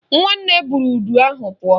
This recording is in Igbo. Nwanne buru udu ahụ pụọ